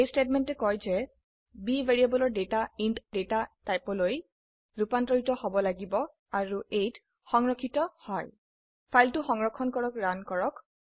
এই স্টেটমেন্টে কয় যে b ভ্যাৰিয়েবলৰ ডেটা ইণ্ট ডেটা টাইপৰলৈ ৰুপান্তৰিত হব লাগিব আৰু a ত সংৰক্ষিত হয় ফাইলটি সংৰক্ষণ কৰক ৰান কৰক